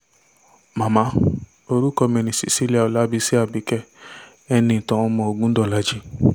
màmá orúkọ mi ni cecilia ọlábiṣí àbìkẹ́ eníìtàn ọmọ ògùndọ̀làjì